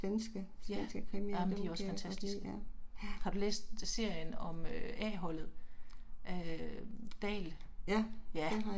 Ja, Amen de er også fantastiske. Har du læst serien om A-holdet? Af øh Dahl, ja